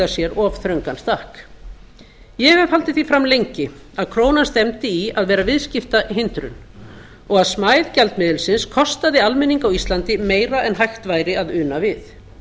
sér of þröngan stakk ég hef haldið því fram lengi að krónan stefndi í að vera viðskiptahindrun og að smæð gjaldmiðilsins kostaði almenning á íslandi meira en hægt væri að una við